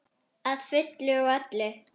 Að fullu og öllu.